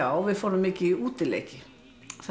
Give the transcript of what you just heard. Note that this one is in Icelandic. við fórum mikið í útileiki